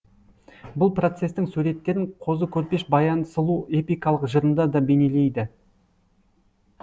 бұл процестің суреттерін қозы көрпеш баян сұлу эпикалық жырында да бейнелейді